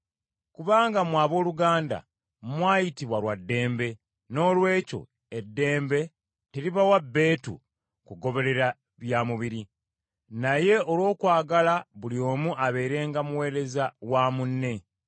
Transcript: Kubanga mmwe abooluganda mwayitibwa lwa ddembe, noolwekyo eddembe teribawa bbeetu kugoberera bya mubiri. Naye olw’okwagala buli omu abeerenga muweereza wa munne.